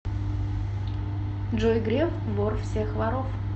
джой греф вор всех воров